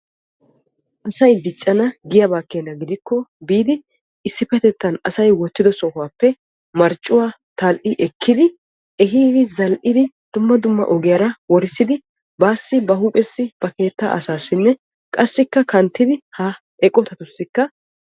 Asay diccana giyaaba giddikko biidi issipetetta asay wottiddo sohuwappe marccuwa tali'i ekkiddi zal'iddi dumma dumma ogiyara worissiddi baassi ba huuphessi ba keetta asaassi qassi kanttiddi eqotattussi maadosonna.